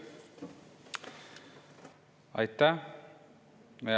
Aitäh!